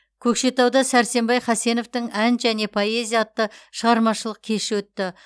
көкшетауда сәрсенбай хасеновтың ән және поэзия атты шығармашылық кеші өтті